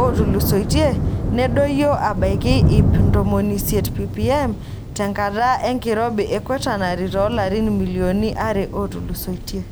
ootulusoitie nedoyio abaiki iip ontomi isiet ppm tenkata enkirobi e Quaternary toolarin milionini are ootulusoitie.